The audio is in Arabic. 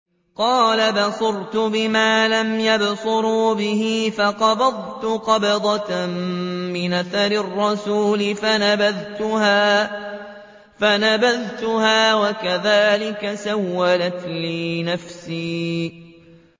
قَالَ بَصُرْتُ بِمَا لَمْ يَبْصُرُوا بِهِ فَقَبَضْتُ قَبْضَةً مِّنْ أَثَرِ الرَّسُولِ فَنَبَذْتُهَا وَكَذَٰلِكَ سَوَّلَتْ لِي نَفْسِي